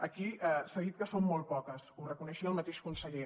aquí s’ha dit que són molt poques ho reconeixia el mateix conseller